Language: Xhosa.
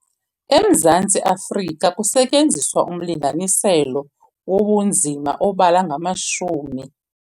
EMzantsi Afrika kusetyenziswa umlinganiselo wobunzima obala ngamashumi.